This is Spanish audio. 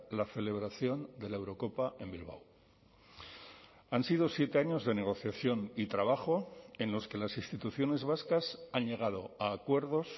la celebración de la eurocopa en bilbao han sido siete años de negociación y trabajo en los que las instituciones vascas han llegado a acuerdos